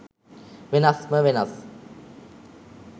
වෙනස්ම වෙනස්.